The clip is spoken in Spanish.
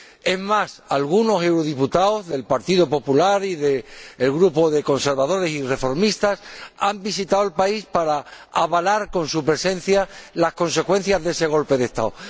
es más, algunos eurodiputados del Partido Popular y del grupo de Conservadores y Reformistas Europeos han visitado el país para avalar con su presencia las consecuencias de ese golpe de Estado